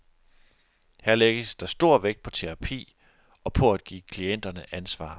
Her lægges der stor vægt på terapi og på at give klienterne ansvar.